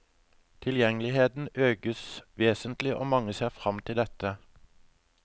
Tilgjengeligheten økes vesentlig, og mange ser frem til dette.